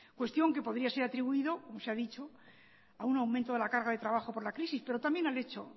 cuestión que podría ser atribuido como se ha dicho a un aumento de la carga de trabajo por la crisis pero también al hecho